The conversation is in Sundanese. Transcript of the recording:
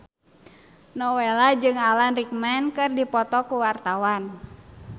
Nowela jeung Alan Rickman keur dipoto ku wartawan